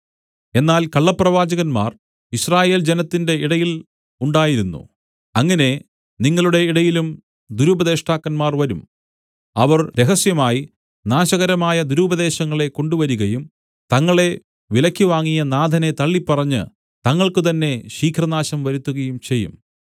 എന്നാൽ കള്ളപ്രവാചകന്മാർ യിസ്രായേൽ ജനത്തിന്റെ ഇടയിൽ ഉണ്ടായിരുന്നു അങ്ങനെ നിങ്ങളുടെ ഇടയിലും ദുരുപദേഷ്ടാക്കന്മാർ വരും അവർ രഹസ്യമായി നാശകരമായ ദുരുപദേശങ്ങളെ കൊണ്ടുവരികയും തങ്ങളെ വിലയ്ക്ക് വാങ്ങിയ നാഥനെ തള്ളിപ്പറഞ്ഞ് തങ്ങൾക്കുതന്നെ ശീഘ്രനാശം വരുത്തുകയും ചെയ്യും